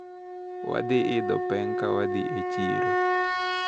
Wadhi idho peng` kawadhi e chiro.